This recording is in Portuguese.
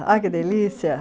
Olha que delícia!